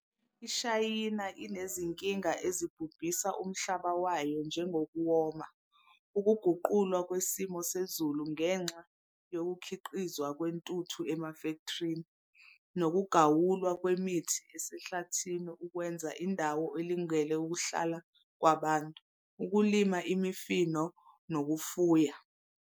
IShayina inezinkinga ezibhubhisa umhlaba wayo njengokuwoma, ukuguqulwa kwesimo sezulu ngenxa yokhukhiqizwa kwentuthu emafektrini, nokugawulwa kwemithi esehlathini ukwenza indawo elungele ukuhlala kwabantu, ukulima imifino nokufuya.